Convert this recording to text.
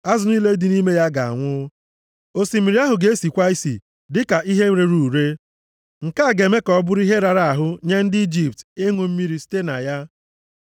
Azụ niile dị nʼime ya ga-anwụ. Osimiri ahụ ga-esikwa isi dịka ihe rere ure. Nke a ga-eme ka ọ bụrụ ihe rara ahụ nye ndị Ijipt ịṅụ mmiri site na ya.’ ”